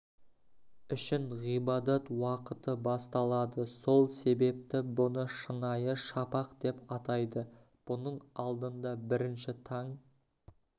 үшін ғибадат уақыты басталады сол себепті бұны шынайы шапақ деп атайды бұның алдында бірінші таң